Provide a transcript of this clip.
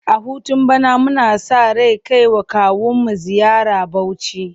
A hutun bana muna sa ran kai wa kawunmu ziyara Bauchi.